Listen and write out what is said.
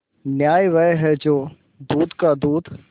न्याय वह है जो दूध का दूध